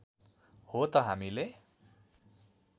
हो त हामीले